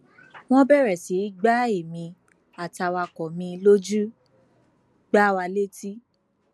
wọn bẹrẹ sí í gba èmi àtàwàkọ mi lójú gbá wa létí